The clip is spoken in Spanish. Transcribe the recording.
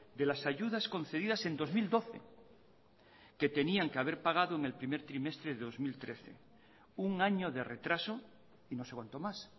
de las ayudas concedidas en dos mil doce que tenían que haber pagado en el primer trimestre de dos mil trece un año de retraso y no sé cuánto más